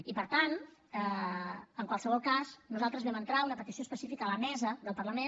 i per tant en qualsevol cas nosaltres vam entrar una petició específica a la mesa del parlament